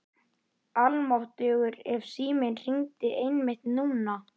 Almáttugur ef síminn hringdi einmitt núna.